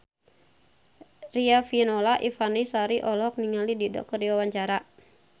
Riafinola Ifani Sari olohok ningali Dido keur diwawancara